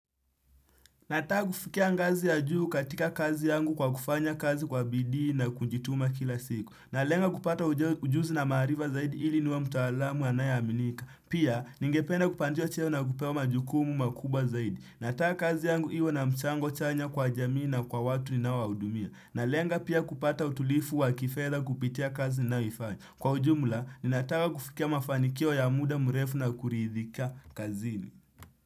Nataka kufikia ngazi ya juu katika kazi yangu kwa kufanya kazi kwa bidii na kujituma kila siku. Na lenga kupata ujuzi na maharifa zaidi ili niwe mtaalamu anayeaminika. Pia, ningependa kupandishwa cheo na kupewa majukumu makubwa zaidi. Nataka kazi yangu iwa na mchango chanya kwa jamii na kwa watu ninawaudumia. Na lenga pia kupata utulifu wa kifeda kupitia kazi ninayofanya. Kwa ujumla, ninataka kufikia mafanikio ya muda mrefu na kuriidhika kazini.